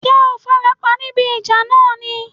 Ṣé o farapa níbi ìjà náà ni?